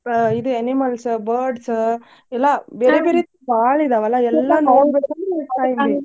ಇದ್ animals, birds ಎಲ್ಲಾ ಬೇರೆ ಬೇರೆ ಬಾಳ ಇದಾವಲಾ ಎಲ್ಲಾ .